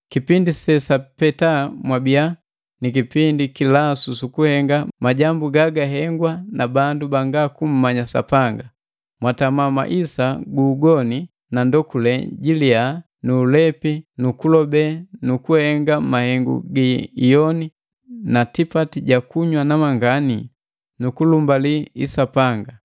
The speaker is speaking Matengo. Kipindi sesapeta mwabiya ni kipindi kilasu sukuhenga majambu gagahengwa na bandu banga kummanya Sapanga. Mwatama maisa gu ugoni na ndokule jiliya nu ulepi nu kulobe nu kuhenga mahengu gi iyoni na tipati ja kunywa namangani nu kulumbali isapanga.